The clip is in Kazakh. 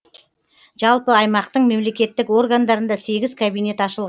жалпы аймақтың мемлекеттік органдарында сегіз кабинет ашыл